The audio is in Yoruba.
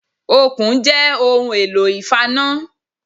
Okùn jẹ́ ohun èlò ìfaná